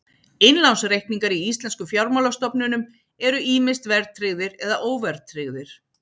Innlánsreikningar í íslenskum fjármálastofnunum eru ýmist verðtryggðir eða óverðtryggðir.